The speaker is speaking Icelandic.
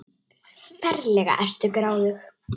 Ferlega ertu gráðug!